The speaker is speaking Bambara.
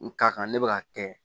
N ka kan ne bɛ ka kɛ